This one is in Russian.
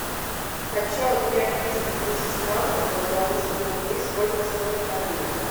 хочу обменять триста тысяч франков на белорусские рубли сколько стоит обмен